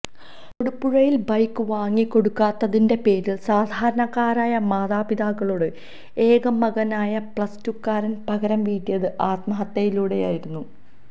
തൊടുപുഴയില് bike വാങ്ങിക്കൊടുക്കാത്തതിന്റെ പേരില് സാധാരണക്കാരായ മാതാപിതാക്കളോട് ഏക മകനായ പ്ലസ് ടുക്കാരന് പകരം വീട്ടിയത് ആത്മഹത്യയിലൂടെയായിരുന്നു